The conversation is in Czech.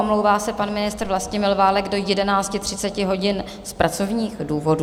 Omlouvá se pan ministr Vlastimil Válek do 11.30 hodin z pracovních důvodů.